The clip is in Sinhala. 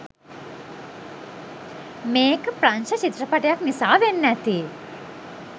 මේක ප්‍රංශ චිත්‍රපටයක් නිසා වෙන්න ඇති